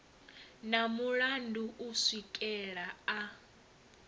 na mulandu u swikela a